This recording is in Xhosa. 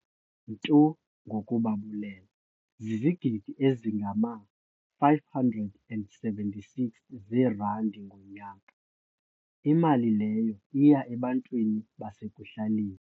"ntu ngokubabulela zizigidi ezingama-576 zerandi ngonyaka, imali leyo iya ebantwini basekuhlaleni."